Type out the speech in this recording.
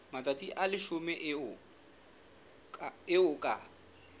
matsatsi a leshome eo ka